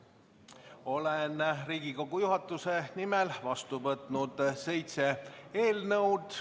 Olen Riigikogu juhatuse nimel vastu võtnud seitse eelnõu.